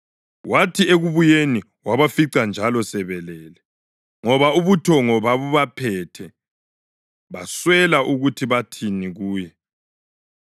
Wathi ekubuyeni wabafica njalo sebelele, ngoba ubuthongo babubaphethe. Baswela ukuthi bathini kuye.